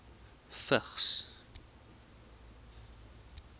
vigs